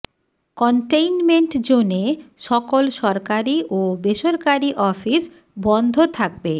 containment জোনে সকল সরকারি ও বেসরকারি অফিস বন্ধ থাকবে